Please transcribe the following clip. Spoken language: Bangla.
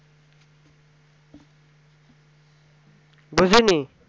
দুইজন ই